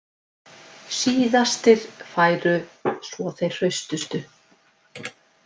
Síðastir færu svo þeir hraustustu